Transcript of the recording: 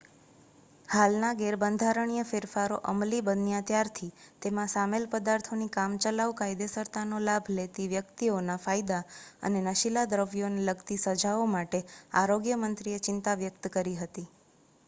હાલના ગેરબંધારણીય ફેરફારો અમલી બન્યા ત્યારથી તેમાં સામેલ પદાર્થોની કામચલાઉ કાયદેસરતાનો લાભ લેતી વ્યક્તિઓના ફાયદા અને નશીલા દ્રવ્યોને લગતી સજાઓ માટે આરોગ્ય મંત્રીએ ચિંતા વ્યક્ત કરી હતી